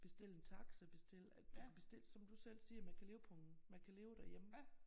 Bestille en taxa bestille at du kan bestille som du selv siger man kan leve på en man kan leve derhjemme